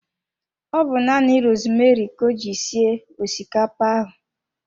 Ọ bu nanị rosmeri ka o ji sie osikapa ahụ